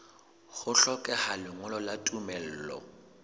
ho hlokeha lengolo la tumello